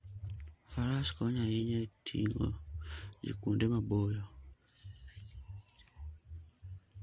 Faras konyo ahinya e ting'o ji kuonde maboyo.